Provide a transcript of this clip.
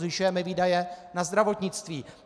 Zvyšujeme výdaje na zdravotnictví.